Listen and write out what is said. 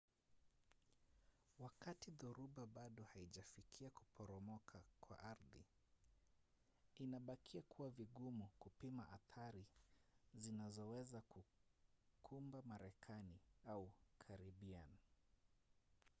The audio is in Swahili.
wakati dhoruba bado haijafikia kuporomoka kwa ardhi inabakia kuwa vigumu kupima athari zinazoweza kukumba marekani au karibian